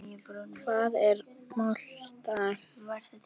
Hvað er molta?